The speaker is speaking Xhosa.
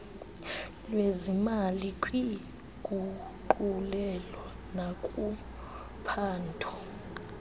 lwezimali kwiinguqulelo nakuphando